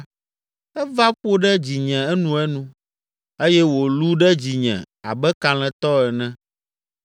Eva ƒo ɖe dzinye enuenu eye wòlũ ɖe dzinye abe kalẽtɔ ene.